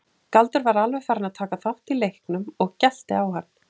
Galdur var alveg farinn að taka þátt í leiknum og gelti á hann.